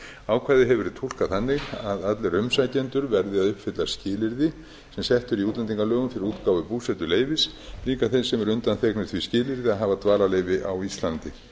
ákvæðið hefur verið túlkað þannig að allir umsækjendur verði að uppfylla skilyrði sem sett eru í útlendingalögum til útgáfu búsetuleyfis líka þeim sem eru undanþegnir því skilyrði að hafa dvalarleyfi á íslandi